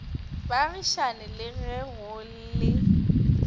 baagišane le ge go le